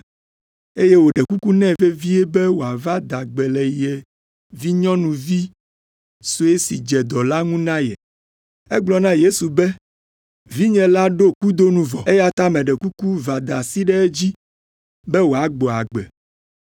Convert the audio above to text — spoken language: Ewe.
eye wòɖe kuku nɛ vevie be wòava da gbe le ye vinyɔnuvi sue si dze dɔ la ŋu na ye. Egblɔ na Yesu be, “Vinye la ɖo kudo nu vɔ, eya ta meɖe kuku va da asi ɖe edzi be wòagbɔ agbe.”